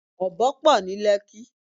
Ọ̀bọ pọ̀ ní Lẹ́kí.